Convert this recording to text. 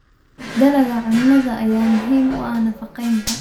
Dalagga cunnada ayaa muhiim u ah nafaqeynta.